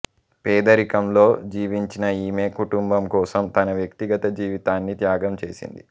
పేదరికంలో జీవించిన ఈమె కుటుంబం కోసం తన వ్యక్తిగత జీవితాన్ని త్యాగం చేసింది